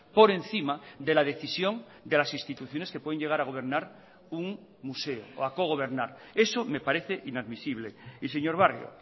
por encima de la decisión de las instituciones que pueden llegar a gobernar un museo o a cogobernar eso me parece inadmisible y señor barrio